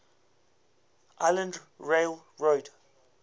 island rail road